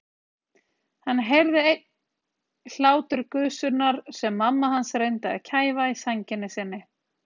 Hann heyrði enn hláturgusurnar sem mamma hans reyndi að kæfa í sænginni sinni.